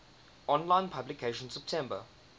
online publication september